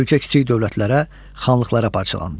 Ölkə kiçik dövlətlərə, xanlıqlara parçalandı.